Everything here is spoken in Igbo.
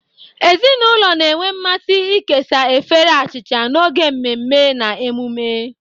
Ezinụlọ na-enwe mmasị ịkesa efere achịcha n'oge mmemme na emume.